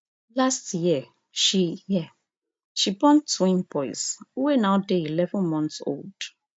last year she year she born twin boys wey now dey eleven months old